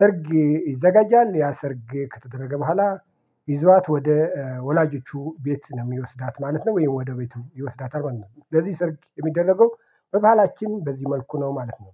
ሰርግ ይዘጋጃል። ያ ሰርግ ከተደረገ በኋላ ይዟት ወደ ወላጆቹ ቤት ነው የሚወስዳት ማለት ነው ወይም ወደ ቤቱ ይወስዳታል ማለት ነው። ስለዚህ ሰርግ የሚደረገው በባህላችን በዚህ መልኩ ነው ማለት ነው